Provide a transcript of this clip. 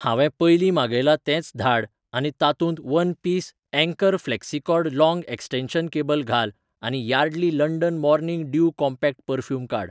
हांवे पयलीं मागयलां तेंच धाड आनी तातूंत one piece Anchor flexicord long extension cable घाल आनी Yardley London morning dew compact perfume काड.